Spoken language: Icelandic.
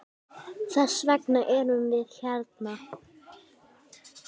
Þess vegna erum við hérna!